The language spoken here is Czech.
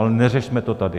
Ale neřešme to tady!